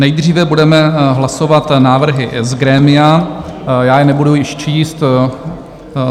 Nejdříve budeme hlasovat návrhy z grémia, já je nebudu již číst.